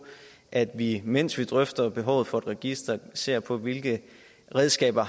at vi mens vi drøfter behovet for et register ser på hvilke redskaber